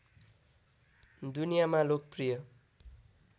दुनियामा लोकप्रिय